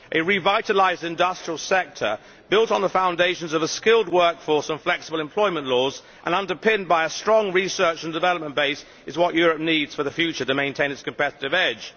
A revitalised industrial sector, built on the foundations of a skilled work force and flexible employment laws and underpinned by a strong research and development base, is what Europe needs for the future to maintain its competitive edge.